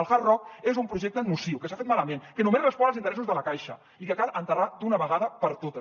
el hard rock és un projecte nociu que s’ha fet malament que només respon als interessos de la caixa i que cal enterrar d’una vegada per totes